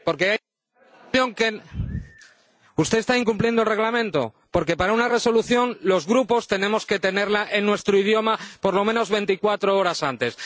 Señor presidente, usted está incumpliendo el Reglamento, porque para una Resolución los Grupos tenemos que tenerla en nuestro idioma por lo menos 24 horas antes.